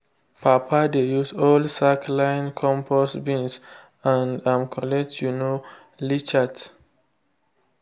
papa dey use old sack line compost bins and um collect um leachate.